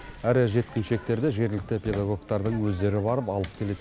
әрі жеткіншектерді жергілікті педагогтардың өздері барып алып келеді